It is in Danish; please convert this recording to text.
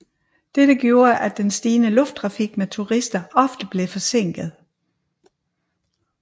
Dette gjorde at den stigende lufttrafik med turister ofte blev forsinket